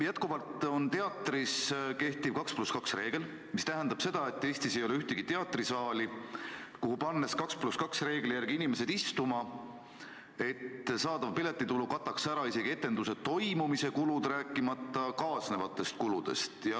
Teatrites kehtib endiselt 2 + 2 reegel, mis tähendab seda, et Eestis ei ole ühtegi teatrisaali, kus – pannes inimesed istuma 2 + 2 reegli järgi – saadav piletitulu kataks ära kas või etenduse toimumise kulud, rääkimata kaasnevatest kuludest.